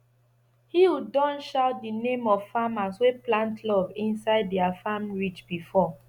hill don shout the name of farmers wey plant love inside their farm ridge before